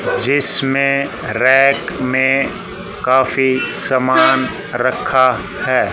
जिसमें रैक में काफी सामान रखा है।